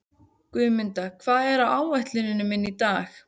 Guðmunda, hvað er á áætluninni minni í dag?